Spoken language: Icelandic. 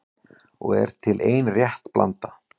Og er til ein rétt blanda